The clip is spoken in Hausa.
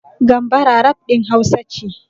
Gambara rap ɗin Hausa ce.